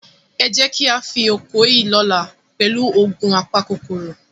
Ẹ jẹ́ ká fín oko yìí lọ́la pẹ̀lú òògun apakòkòrò.